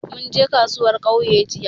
Mun je kasuwar ƙauye jiya